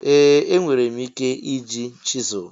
Ee! Enwere m ike iji chisel.